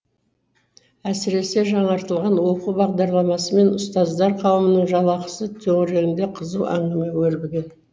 әсіресе жаңартылған оқу бағдарламасы мен ұстаздар қауымының жалақысы төңірегінде қызу әңгіме өрбіген